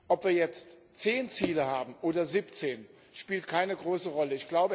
Ob wir jetzt zehn Ziele haben oder siebzehn, spielt keine große Rolle.